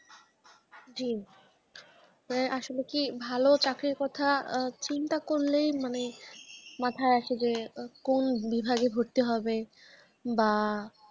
জি এ আসলে কি ভালো চাকরির কথা আ চিন্তা করলেই মানে মাথায় আসে যে কোন বিভাগে ভর্তি হবে, বা